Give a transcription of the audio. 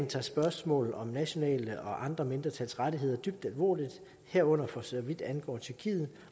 tager spørgsmålet om nationale mindretals og andre mindretals rettigheder dybt alvorligt herunder for så vidt angår tyrkiet